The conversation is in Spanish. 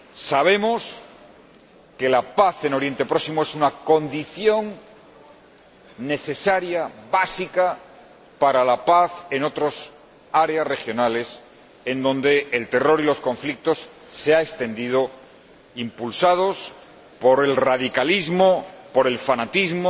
Sabemos que la paz en Oriente Próximo es una condición necesaria, básica, para la paz en otras áreas regionales, en donde se han extendido el terror y los conflicto, impulsados por el radicalismo, por el fanatismo